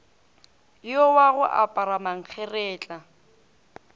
yo wa go apara mankgeretla